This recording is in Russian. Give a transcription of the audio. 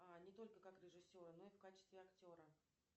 не только как режиссера но и в качестве актера